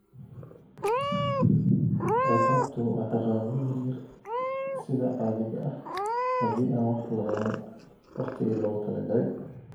Ciqaabtu waa ciqaabo yar yar sida caadiga ah haddii aan wax la qaban waqtigii loogu talagalay.